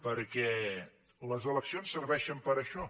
perquè les eleccions serveixen per a això